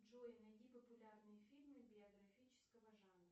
джой найди популярные фильмы биографического жанра